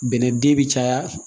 Bɛnɛ den bi caya